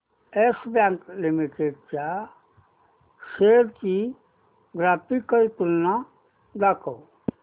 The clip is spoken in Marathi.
येस बँक लिमिटेड च्या शेअर्स ची ग्राफिकल तुलना दाखव